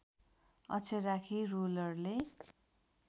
अक्षर राखी रोलरले